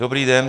Dobrý den.